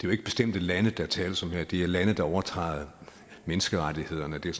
jo ikke bestemte lande der tales om her men det er lande der overtræder menneskerettighederne og det er